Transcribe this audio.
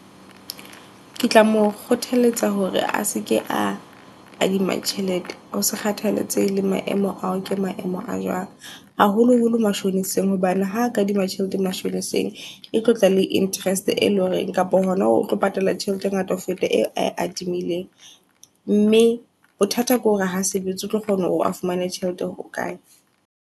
Ke tla mo kgothaletsa hore a seke a kadima tjhelete. Hose kgathaletsehe le maemo ao ke maemo a jwang. Haholo holo mashoneseng, hobane ha kadima tjhelete e tlotla le interest e leng hore . Kapa hona o tlo patala tjhelete e ngata ho feta eo ae adimileng, mme bothata kore ha sebetse o tlo kgona hore a fumane tjhelete hokae.